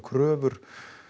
kröfur